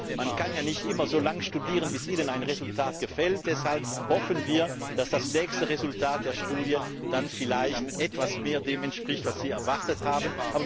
Aber man kann ja nicht immer so lange Studien durchführen, bis einem ein Resultat gefällt. Deshalb hoffen wir, dass das nächste Resultat der Studie dann vielleicht etwas mehr dem entspricht, was Sie erwartet haben.